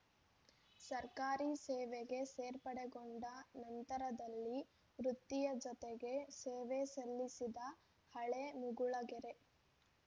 ಸರ್ಕಾರಿ ಸೇವೆಗೆ ಸೇರ್ಪಡೆಗೊಂಡ ನಂತರದಲ್ಲಿ ವೃತ್ತಿಯ ಜತೆಗೆ ಸೇವೆ ಸಲ್ಲಿಸಿದ ಹಳೆಮುಗುಳಗೆರೆ